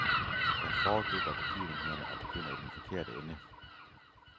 Jeg foregriber begivenhederne og begynder i den forkerte ende.